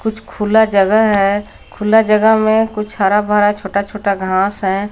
कुछ खुला जगह है खुला जगह में कुछ हरा भरा छोटा छोटा घास है।